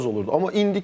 O çox az olurdu.